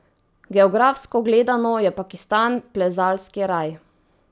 Geografsko gledano je Pakistan plezalski raj.